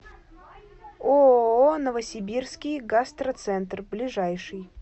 ооо новосибирский гастроцентр ближайший